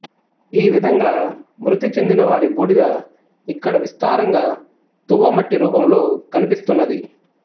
ఈ విధంగా మృతి చెందిన వారి బూడిద ఇక్కడ విస్తారంగా తువ్వమట్టి రూపంలో కనిపిస్తున్నది